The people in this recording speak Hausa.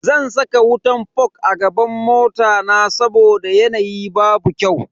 Zan saka wutan fog a gaban mota na saboda yanayi babu kyau.